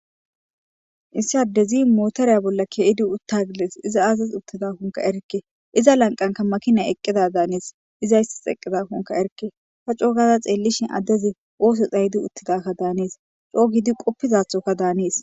Issi adezzi motere bolla keyiddi uttagides izzi aziss utidankka erike izza lanqen makinay eqizza danes izzaysekonekka erike ta cogada xelishin adezzi osso xaydi utidaka danees.cogidi qofizathokka danees